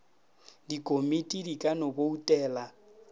dikomiti di ka no boutela